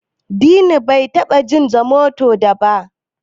Dini bai taba jin Zomoto ba da.